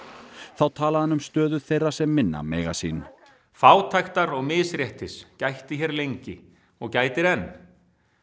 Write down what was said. þá talaði hann um stöðu þeirra sem minna mega sín fátæktar og misréttis gætti hér lengi og gætir enn